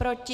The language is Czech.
Proti?